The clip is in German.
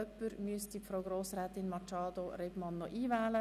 Jemand sollte Frau Grossrätin Machado auf die Rednerliste setzten.